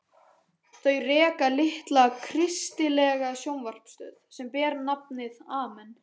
Þau reka litla kristilega sjónvarpsstöð sem ber nafnið Amen.